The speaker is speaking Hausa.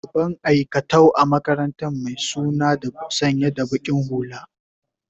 shugaban aikatau a makarantaran my suna sanya da baki hulla